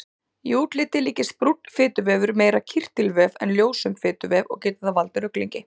Í útliti líkist brúnn fituvefur meira kirtilvef en ljósum fituvef og getur það valdið ruglingi.